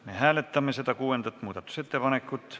Me hääletame kuuendat muudatusettepanekut.